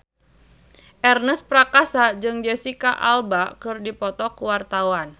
Ernest Prakasa jeung Jesicca Alba keur dipoto ku wartawan